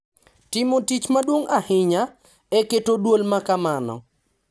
Timo tich maduong’ ahinya, e keto dwol ma kamano.